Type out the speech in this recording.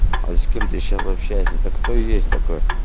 а с кем ты сейчас общаешься это кто есть такой